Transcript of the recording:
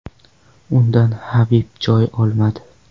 Undan Habib joy olmadi.